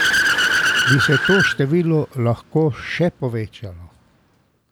Bi se pa to število lahko še povečalo.